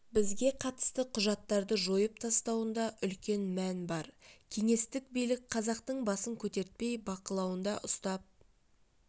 бізге қатысты құжаттарды жойып тастауында үлкен мән бар кеңестік билік қазақтың басын көтертпей бақылауында ұстап